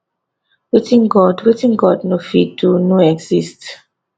wetin god wetin god no fit do no exist